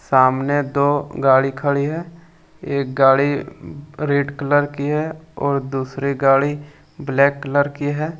सामने दो गाड़ी खड़ी है एक गाड़ी रेड कलर की है और दूसरी गाड़ी ब्लैक कलर की है।